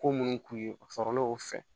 Ko minnu k'u ye o sɔrɔlenw fɛ